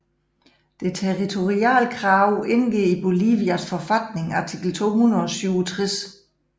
Det territoriale krav indgår i Bolivias forfatning artikel 267